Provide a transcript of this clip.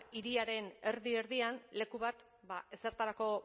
hiriaren erdi erdian leku bat ezertarako